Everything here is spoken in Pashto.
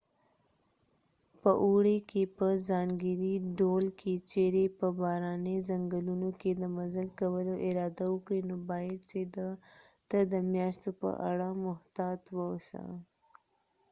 په اوړي که په ځانګړي ډول که چیرې په باراني ځنګلونو کې د مزل کولو اراده وکړې نو باید چې ته د میاشو په اړه محتاط واوسې